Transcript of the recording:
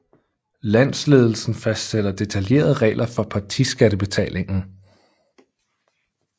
Landsledelsen fastsætter detaljerede regler for partiskattebetalingen